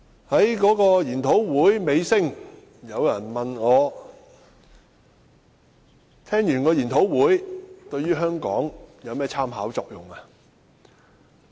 在研討會的尾聲，有人問我，研討會內容對香港有何參考作用？